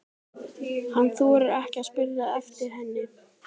Hann þorir ekki að spyrja eftir henni.